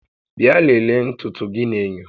Bịa lelee ntutu gị n'enyo